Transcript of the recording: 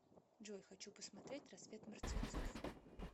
джой хочу посмотреть рассвет мертвецов